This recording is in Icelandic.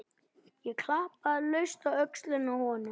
Ég klappaði laust á öxlina á honum.